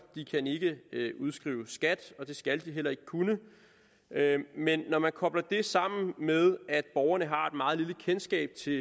de kan ikke udskrive skat og det skal de heller ikke kunne men når man kobler det sammen med at borgerne har meget lille kendskab til